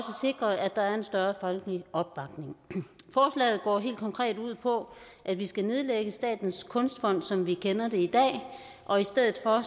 sikre at der er en større folkelig opbakning forslaget går helt konkret ud på at vi skal nedlægge statens kunstfond som vi kender det i dag og i stedet for